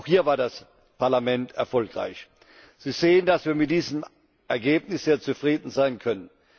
Auch hier war das Parlament erfolgreich. Sie sehen, dass wir mit diesem Ergebnis sehr zufrieden sein können.